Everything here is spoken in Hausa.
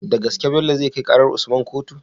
Da gaske Bello zai kai karar usman kotu?